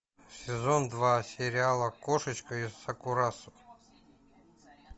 сезон два сериала кошечка из сакурасо